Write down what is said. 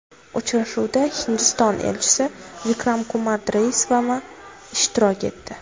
Uchrashuvda Hindiston elchisi Vikram Kumar Doraisvami ishtirok etdi.